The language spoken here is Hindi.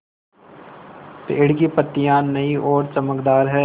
पेड़ की पतियां नई और चमकदार हैँ